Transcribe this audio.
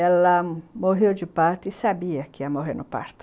Ela morreu de parto e sabia que ia morrer no parto.